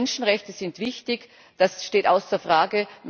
Menschenrechte sind wichtig das steht außer Frage.